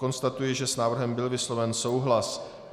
Konstatuji, že s návrhem byl vysloven souhlas.